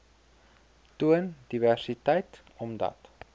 toon diversiteit omdat